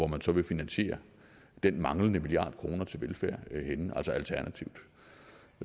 man så vil finansiere den manglende milliard kroner til velfærd altså alternativt